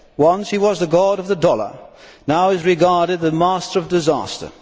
Once he was the God of the dollar. Now he is regarded as the master of disaster.